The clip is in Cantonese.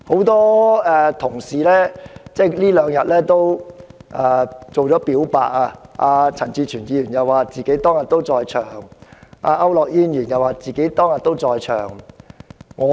多位議員近日已"表白"，例如陳志全議員指出他自己當天也在場，而區諾軒議員也表示自己當天也在場。